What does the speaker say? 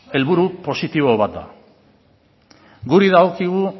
helburu positibo bat da guri dagokigu